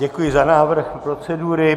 Děkuji za návrh procedury.